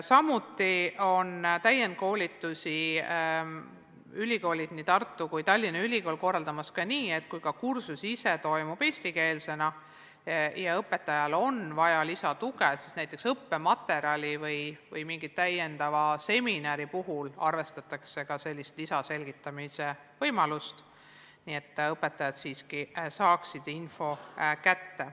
Samuti on täienduskoolitusi korraldanud nii Tartu kui ka Tallinna Ülikool selliselt, et kursus ise toimub eestikeelsena, aga kui õpetajal on vaja lisatuge, näiteks õppematerjali või mingi lisaseminari näol, siis arvestatakse ka sellist lisaselgitamise võimalust, et õpetajad siiski saaksid info kätte.